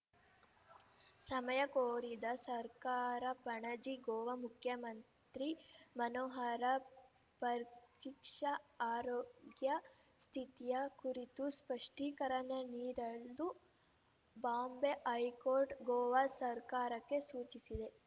ಸಮಯ ಕೋರಿದ ಸರ್ಕಾರ ಪಣಜಿ ಗೋವಾ ಮುಖ್ಯಮಂತ್ರಿ ಮನೋಹರ ಪರ್ರಿಕ್ಷಾ ಆರೋಗ್ಯ ಸ್ಥಿತಿಯ ಕುರಿತು ಸ್ಪಷ್ಟೀಕರಣ ನೀಡಲು ಬಾಂಬೆ ಹೈಕೋರ್ಟ್‌ ಗೋವಾ ಸರ್ಕಾರಕ್ಕೆ ಸೂಚಿಸಿದೆ